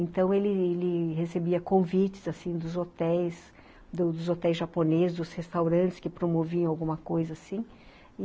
Então, ele ele recebia convites assim dos hotéis dos hotéis japoneses, dos restaurantes que promoviam alguma coisa assim